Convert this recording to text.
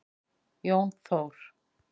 Jón Þór.